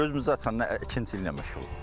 Gözümüzü açandan ikinci illə məşğuluq.